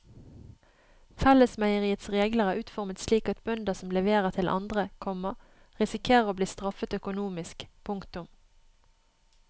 Fellesmeieriets regler er utformet slik at bønder som leverer til andre, komma risikerer å bli straffet økonomisk. punktum